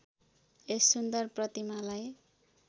यस सुन्दर प्रतिमालाई